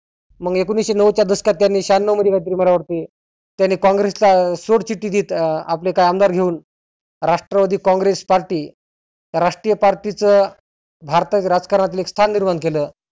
मग एकोनिसशे नव्वदच्या दशकात त्यांनी शहन्नव मध्ये काहि तरी मला वाटते. त्यांनी कॉंग्रसचा सोड चिठ्ठी देत आपले आमदार घेऊन राष्ट्रवादी कॉंगेस party राष्ट्रीय party चं भारतात राजकारणातले एक स्थान निर्माण केलं.